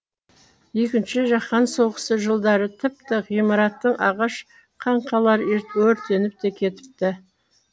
екінші жаһан соғысы жылдары тіпті ғимаратты ағаш қаңқалары өртеніп те кетіпті